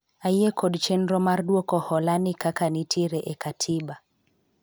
ayie kod chenro mar dwoko hola ni kaka nitiere e katiba